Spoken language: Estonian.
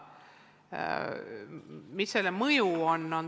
Mis selle mõju on?